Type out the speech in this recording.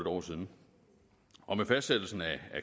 år siden og med fastsættelsen af